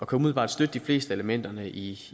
kan umiddelbart støtte de fleste af elementerne i